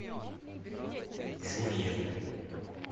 жульен